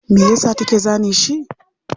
Mayasa take zane shi?